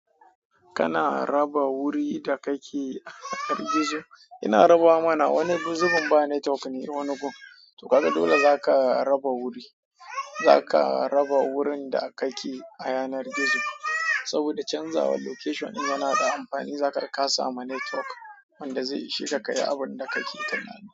Kana raba wuri da kake a yanar gizo? Ina rabawa mana wani zubin na network ne irin wani gun. To kaga dole zaka raba wuri, zaka raba wurin da kake a yanar gizo saboda canzawa location din yana da amfani. Zakaga ka samu network wanda zai isheka kayi abunda kake tunani.